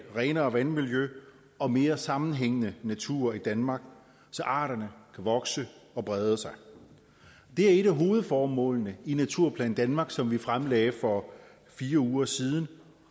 renere vandmiljø og mere sammenhængende natur i danmark så arterne kan vokse og brede sig det er et af hovedformålene i naturplan danmark som vi fremlagde for fire uger siden